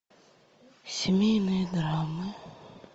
семейные драмы